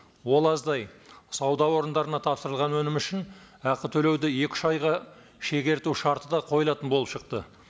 ол аздай сауда орындарына тапсырылған өнім үшін ақы төлеуді екі үш айға шегерту шарты да қойылатын болып шықты